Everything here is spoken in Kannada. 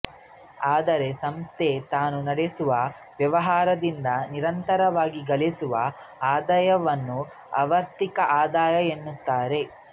ಆದರೆ ಸಂಸ್ಥೆ ತಾನು ನಡೆಸುವ ವ್ಯವಹಾರದಿಂದ ನಿರಂತರವಾಗಿ ಗಳಿಸುವ ಆದಾಯವನ್ನು ಆವರ್ತಕ ಆದಾಯ ಎನ್ನುತ್ತಾರೆ